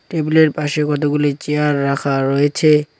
টেবিলের পাশে কতগুলি চেয়ার রাখা রয়েছে।